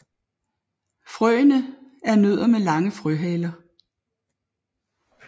Frøene er nødder med lange frøhaler